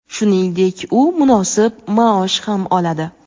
Shuningdek, u munosib maosh ham oladi.